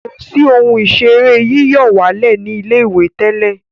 kọ sí Ohun ìṣeré yíyọ̀wálẹ̀ ní ilé-ìwé tẹlẹ.